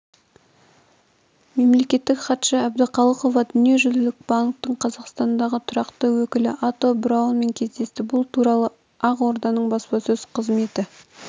мемлекеттік хатшы әбдіқалықова дүниежүзілік банктің қазақстандағы тұрақты өкілі ато браунмен кездесті бұл туралы ақорданың баспасөз қызметі